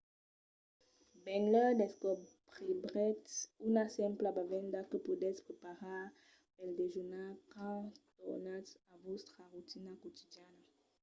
benlèu descobriretz una simpla bevenda que podètz preparar pel dejunar quand tornatz a vòstra rotina quotidiana